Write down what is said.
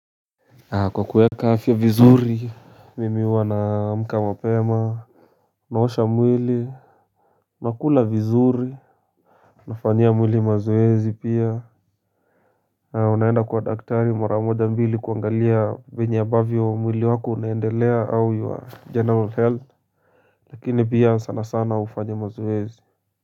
Kwa kueka afya vizuri. Mimi huwa namka mapema. Naosha mwili. Nakula vizuri. Nafanyia mwili mazoezi pia. Unaenda kwa daktari mara moja mbili kuangalia vyenye ambavyo mwili wako unaendelea au your general health. Lakini pia sana sana hufanya mazoezi.